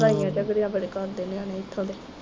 ਲੜਾਈਆਂ ਬੜੇ ਕਰਦੇ ਨਿਆਣੇ ਇੱਥੋਂ ਦੇ